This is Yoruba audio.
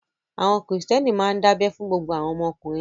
Àwọn Kìrìtẹ́ẹ́nì máa ń dábẹ fún gbogbo àwọn ọmọkùnrin wọn.